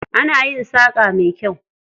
Ana yin saƙa mai kyau.